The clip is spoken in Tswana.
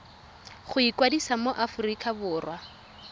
go ikwadisa mo aforika borwa